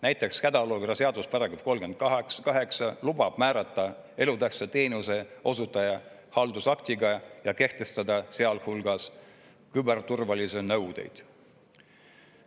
Näiteks hädaolukorra seaduse § 38 lubab määrata elutähtsa teenuse osutaja haldusaktiga ja kehtestada sealhulgas küberturvalisusele nõudeid.